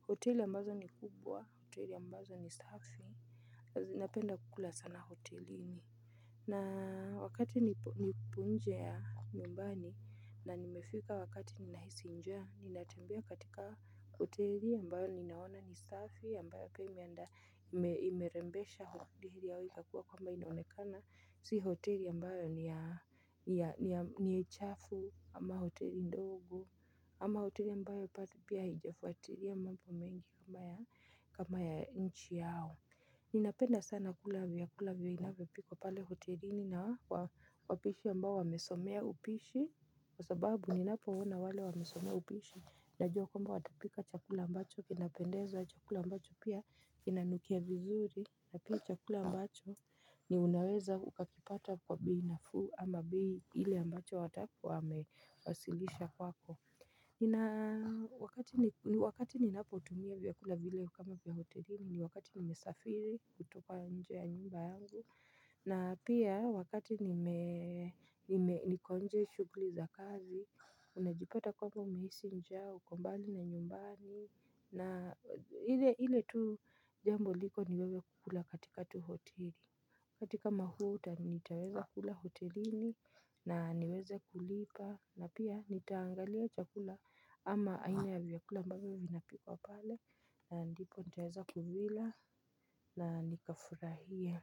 hoteli ambazo ni kubwa hoteli ambazo ni safi. Zinapenda kula sana hotelini. Na wakati nipo nje ya nyumbani na nimefika wakati ninahisi nja ninatembea katika hoteli ambayo ninaona ni safi ambayo imeanda imerembesha hoteli yao ikakua kwamba inaonekana. Si hoteli ambayo ni ya ni chafu ama hoteli ndogo ama hoteli ambayo pia hijafuatilia mambo mengi kama ya kama ya nchi yao. Ninapenda sana kula vyakula vinavyopikwa pale hotelini na wapishi ambao wamesomea upishi. Kwa sababu ninapoona wale wamesomea upishi najua kwamba watapika chakula ambacho kinapendeza chakula ambacho pia inanukia vizuri. Na pia chakula ambacho ni unaweza ukakipata kwa bei nafuu ama bei ile ambacho watakuwa wamewasilisha kwako nina ni wakati ninapotumia vyakula vile kama vya hotelini ni wakati nimesafiri kutoka nje ya nyumba yangu. Na pia wakati nime niko nje shughuli za kazi, unajipata kwamba umehisi njaa, uko mbali na nyumbani. Na ile tu jambo liko ni wewe kukula katika tu hoteli. Katika mahuta nitaweza kula hotelini na niweze kulipa na pia nitaangalia chakula ama aina ya vyakula ambavyo vinapikwa pale na ndipo nitaweza kuvila na nikafurahie.